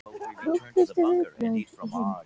Krúttlegustu viðbrögð í heimi